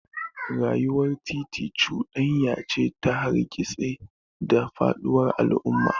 Rayuwar titi cuɗanya ce ta hargitsi da faɗuwar al'adu.